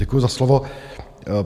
Děkuji za slovo.